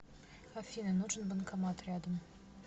афина нужен банкомат рядом